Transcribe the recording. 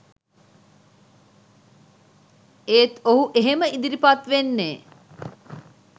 ඒත් ඔහු එහෙම ඉදිරිපත් වෙන්නේ